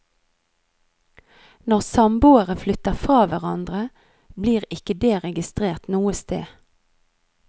Når samboere flytter fra hverandre, blir ikke det registrert noe sted.